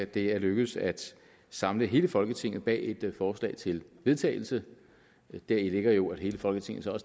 det er lykkedes at samle hele folketinget bag et forslag til vedtagelse deri ligger jo at hele folketinget så